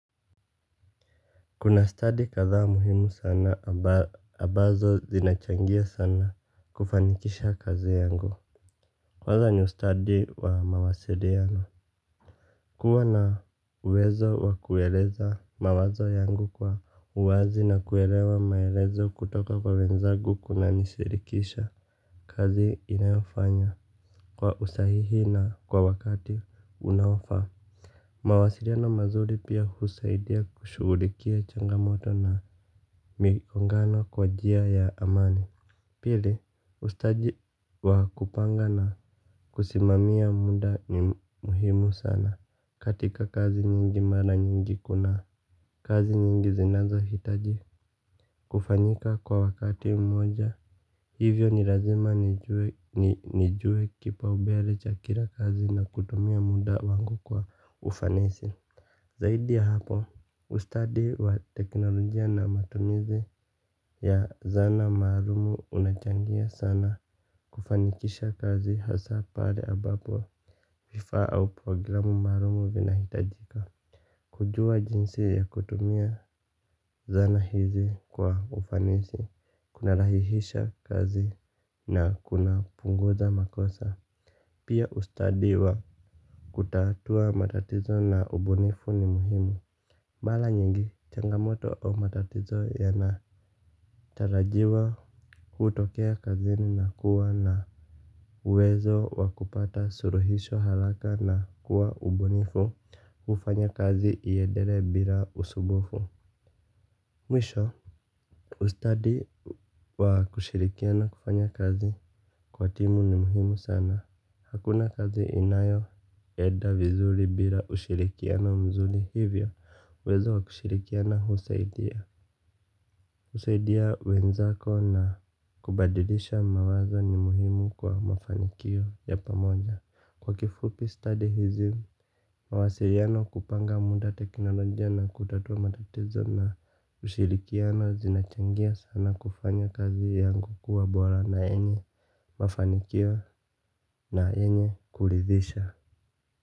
Kuna stadi kadhaa muhimu sana ambazo zinachangia sana kufanikisha kazi yangu. Kwanza ustadi wa mawasiliano kuwa na uwezo wa kueleza mawazo yangu kwa uwazi na kuelewa maelezo kutoka kwa wenzagu kunanishirikisha. Kazi inayofanya kwa usahihi na kwa wakati unaofaa mawasiliano mazuri pia husaidia kushughulikia changamoto na migongano kwa njia ya amani. Pili ustadi wa kupanga na kusimamia muda ni muhimu sana katika kazi nyingi mara nyingi kuna kazi nyingi zinazohitaji kufanyika kwa wakati mmoja. Hivyo ni lazima nijue kipaumbele cha kila kazi na kutumia muda wangu kwa ufanisi. Zaidi ya hapo, ustadi wa teknolojia na matumizi ya zana maalam unachangia sana kufanikisha kazi hasa pale abapo vifaa au programu maalum vinahitajika. Kujua jinsi ya kutumia zana hizi kwa ufanisi, kunarahisisha kazi na kunapunguza makosa. Pia ustadi wa kutatua matatizo na ubunifu ni muhimu. Mara nyingi changamoto au matatizo yanatarajiwa kutokea kazini na kuwa na uwezo wa kupata suluhisho haraka na kuwa mbunifu hufanya kazi iendelee bila usumbufu. Mwisho ustadi wa kushirikiana kufanya kazi kwa timu ni muhimu sana. Hakuna kazi inayoenda vizuri bila ushirikiano mzuri hivyo uwezo wakushirikiana husaidia husaidia wenzako na kubadilisha mawazo ni muhimu kwa mafanikio ya pamoja. Kwa kifupi stadi hizi mawasiliano kupanga muda teknolojia na kutatua matatizo na ushirikiano zinachangia sana kufanya kazi yangu kuwa bora na yenye mafanikio na yenye kuridhisha.